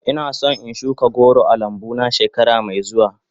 Ina son in shuka goro a lambu na shekara mai zuwa.